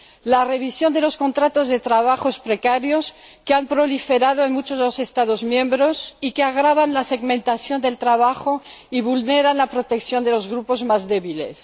la revisión de los contratos de trabajo precarios que han proliferado en muchos Estados miembros y que agravan la segmentación del trabajo y vulneran la protección de los grupos más débiles